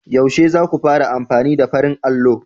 Yaushe za ku fara amfani da farin allo?